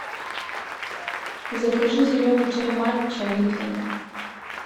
закажи зеленый чай матча липтон